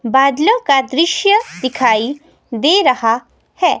बादलों का दृश्य दिखाई दे रहा है।